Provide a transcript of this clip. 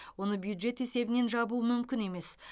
оны бюджет есебінен жабу мүмкін емес